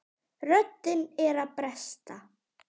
Röddin er að bresta.